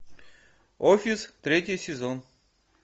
офис третий сезон